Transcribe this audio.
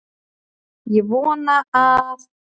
Ég vona að